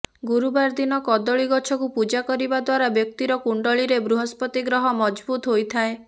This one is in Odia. ଗୁରୁବାର ଦିନ କଦଳୀ ଗଛକୁ ପୂଜା କରିବା ଦ୍ୱାରା ବ୍ୟକ୍ତିର କୁଣ୍ଡଲୀରେ ବୃହସ୍ପତି ଗ୍ରହ ମଜଭୂତ ହୋଇଥାଏ